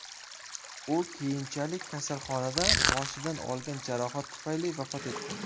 U keyinchalik kasalxonada boshidan olingan jarohat tufayli vafot etdi.